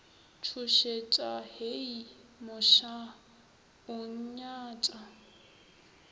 tšhošetša hei mošaa o nnyatša